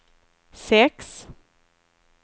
sex